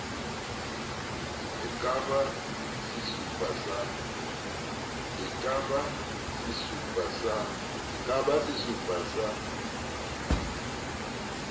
e ka ba sesupo sa